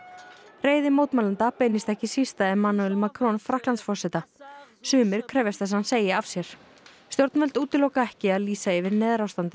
reiði mótmælenda beinist ekki síst að Emmanuel Macron Frakklandsforseta sumir krefjast þess að hann segi af sér stjórnvöld útiloka ekki að lýsa yfir neyðarástandi